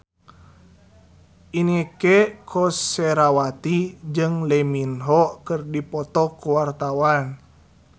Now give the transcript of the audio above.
Inneke Koesherawati jeung Lee Min Ho keur dipoto ku wartawan